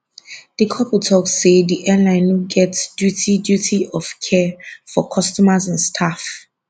di couple tok say di airline no get duty duty of care for customers and staff